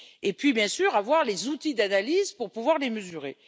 Puis, bien sûr, disposer des outils d'analyse pour pouvoir les mesurer.